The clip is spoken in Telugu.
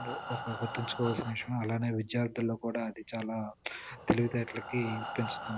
ఒక గుర్తుంచుకోవాల్సిన విషయము అలాగే విద్యార్థుల్లో కూడా అది చాలా తెలివితేటలకి పెంచు --